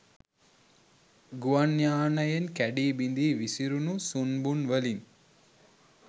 ගුවන් යානයෙන් කැඞී බිඳී විසුරුණු සුන්බුන්වලින්